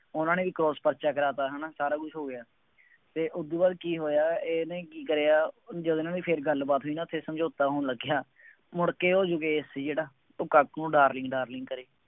ਉਹਨਾ ਨੇ ਵੀ cross ਪਰਚਾ ਕਰਾਤ ਹੈ ਨਾ, ਸਾਰਾ ਕੁੱਛ ਹੋ ਗਿਆ, ਅਤੇ ਉਹਦੂ ਬਾਅਦ ਕੀ ਹੋਇਆਂ ਅਤੇ ਇਹਨੇ ਕੀ ਕਰਿਆ ਜਦੋਂ ਇਹਨਾ ਦੀ ਫੇਰ ਗੱਲਬਾਤ ਹੋਈ ਨਾ ਫੇਰ ਸਮਝੌਤਾ ਹੋਣ ਲੱਗਿਆ, ਮੁੜਕੇ ਉੇਹ ਯੋਗੇਸ਼ ਸੀ ਜਿਹੜਾ ਉਹ ਕਾਕੂ ਨੂੰ darling darling